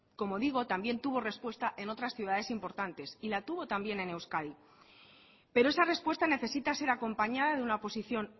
como digo también tuvo respuesta en otras ciudades importantes y la tuvo también en euskadi pero esa respuesta necesita ser acompañada de una posición